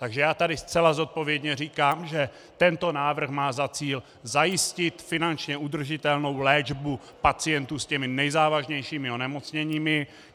Takže já tady zcela zodpovědně říkám, že tento návrh má za cíl zajistit finančně udržitelnou léčbu pacientů s těmi nejzávažnějšími onemocněními.